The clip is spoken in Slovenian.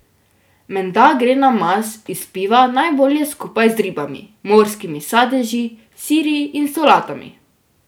Menda gre namaz iz piva najbolje skupaj z ribami, morskimi sadeži, siri in solatami.